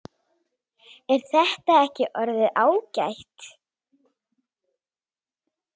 Er þetta ekki orðið ágætt?